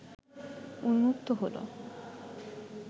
উন্মুক্ত হলো